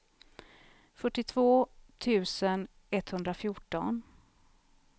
fyrtiotvå tusen etthundrafjorton